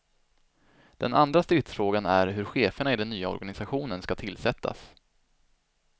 Den andra stridsfrågan är hur cheferna i den nya organisationen ska tillsättas.